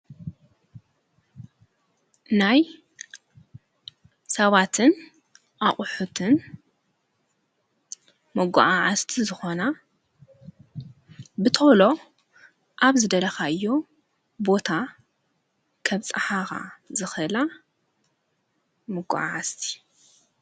ናይ ሰባትን ኣቝሑትን መጐዓዓዝቲ ዝኾና ብተሎ ኣብ ዝደለኻዮ ቦታ ኸብፀሓኻ ዝኽላ መጐዓዓዝቲ፡፡